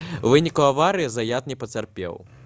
у выніку аварыі заят не пацярпеў